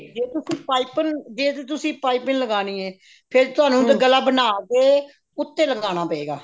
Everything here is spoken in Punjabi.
ਜੇ ਤੇ ਤੁਸੀਂ ਪਾਈਪਿੰਨ ਜੇ ਤੇ ਤੁਸੀਂ ਪਾਈਪਿੰਨ ਲਗਾਉਣੀ ਹੈ ਫ਼ੇਰ ਤੁਹਾਨੂੰ ਗਲਾ ਬਣਾ ਕੇ ਉੱਤੇ ਲਗਾਉਣਾ ਪਵੇਗਾ